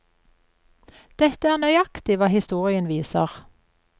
Dette er nøyaktig hva historien viser.